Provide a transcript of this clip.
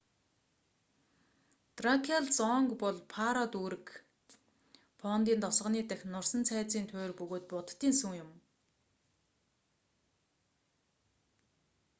дракиал зонг бол паро дүүрэг фондий тосгоны дахь нурсан цайзын туйр бөгөөд буддын сүм юм